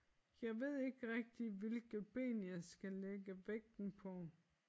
Jeg ved ikke rigtig hvilket ben jeg skal lægge vægten på